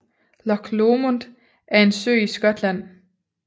Loch Lomond er en sø i Skotland